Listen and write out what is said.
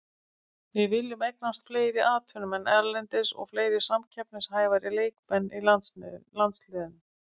Við viljum eignast fleiri atvinnumenn erlendis og fleiri samkeppnishæfari leikmenn í landsliðinu.